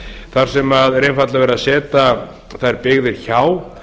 þar sem einfaldlega er verið að setja þær byggðir hjá